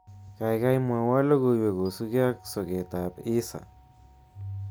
Kaikai mwowo logoiwek kosuke ak soketab Hisa